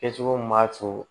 Kɛcogo min b'a to